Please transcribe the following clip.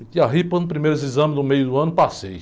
Eu para os primeiros exames do meio do ano, passei.